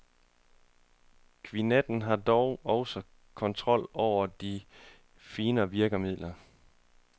Kvintetten har dog også kontrol over de finere virkemidler.